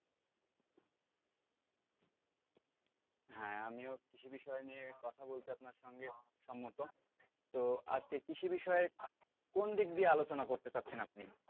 হ্যাঁ আমিও কৃষি বিষয় নিয়ে কথা বলতে আপনার সঙ্গে সম্মত, তো আজকে কৃষি বিষয়ে কোন দিক দিয়ে আলোচনা করতে চাচ্ছেন আপনি?